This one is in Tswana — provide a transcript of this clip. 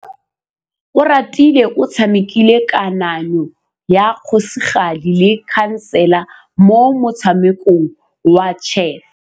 Oratile o tshamekile kananyô ya kgosigadi le khasêlê mo motshamekong wa chess.